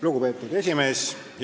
Lugupeetud esimees!